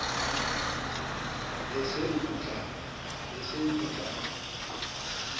be e se e putlama